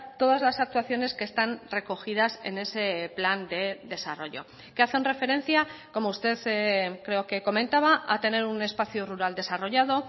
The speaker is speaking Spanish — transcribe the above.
todas las actuaciones que están recogidas en ese plan de desarrollo que hacen referencia como usted creo que comentaba a tener un espacio rural desarrollado